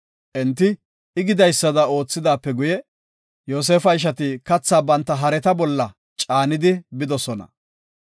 Enti I gidaysada oothidaape guye, Yoosefa ishati katha banta hareta bolla caanidi bidosona.